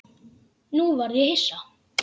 Nú varð ég hissa.